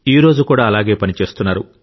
ఈ రోజు కూడా అలాగే పని చేస్తున్నారు